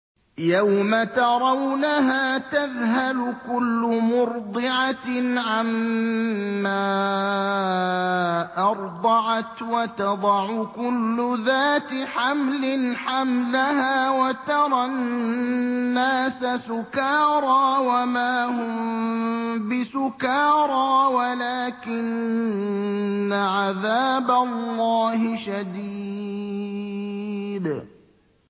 يَوْمَ تَرَوْنَهَا تَذْهَلُ كُلُّ مُرْضِعَةٍ عَمَّا أَرْضَعَتْ وَتَضَعُ كُلُّ ذَاتِ حَمْلٍ حَمْلَهَا وَتَرَى النَّاسَ سُكَارَىٰ وَمَا هُم بِسُكَارَىٰ وَلَٰكِنَّ عَذَابَ اللَّهِ شَدِيدٌ